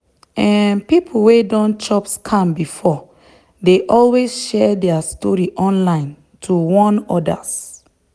um people wey don chop scam before dey always share their story online to warn others.